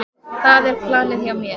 Það er planið hjá mér.